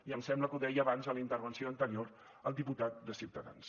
i em sembla que ho deia abans en la intervenció anterior el diputat de ciutadans